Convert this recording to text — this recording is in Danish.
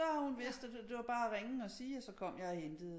Så har hun vidst at det var bare at ringe og sige og så kom jeg og hentede